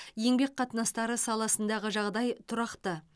еңбек қатынастары саласындағы жағдай тұрақты